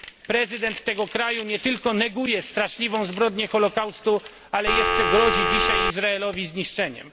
Prezydent tego kraju nie tylko neguje straszliwą zbrodnię holocaustu, ale jeszcze grozi dzisiaj Izraelowi zniszczeniem.